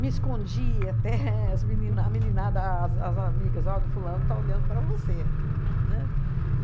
Me escondia até as menina a meninada a as amigas, ó, do fulano está olhando para você, né? Aham.